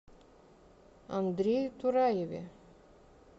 андрее тураеве